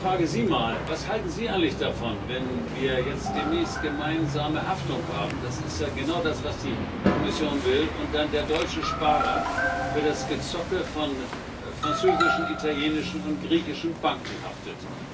Ich frage Sie mal Was halten Sie eigentlich davon, wenn wir jetzt demnächst gemeinsame Haftung haben das ist ja genau das, was die Kommission will und dann der deutsche Sparer für das Gezocke von französischen, italienischen und griechischen Banken haftet?